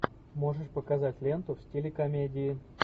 можешь показать ленту в стиле комедии